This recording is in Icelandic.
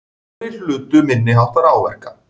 Aðrir hlutu minniháttar áverka